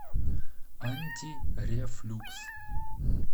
антирефлюкс